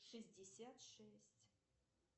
шестьдесят шесть